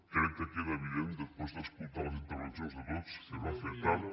crec que queda evident després d’escoltar les intervencions de tots que es va fer tard